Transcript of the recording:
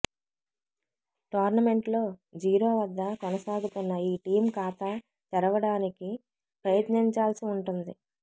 tournament లో zero వద్ద కొనసాగుతున్న ఈ టీమ్ ఖాతా తెరవడానికి ప్రయత్నించాల్సి ఉంటుంది